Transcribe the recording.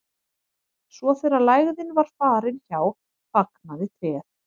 svo þegar lægðin var farin hjá fagnaði tréð